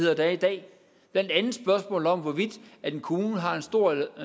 er i dag blandt andet spørgsmålet om hvorvidt en kommune har en stor